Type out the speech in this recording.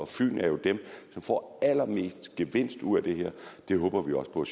fyn er jo dem som får allermest gevinst ud af det her det håber vi også på at